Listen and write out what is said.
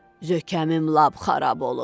Zökəmim lap xarab olub.